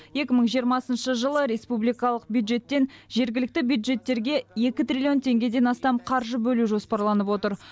екі мың жиырмасыншы жылы республикалық бюджеттен жергілікті бюджеттерге екі триллион теңгеден астам қаржы бөлу жоспарланып отыр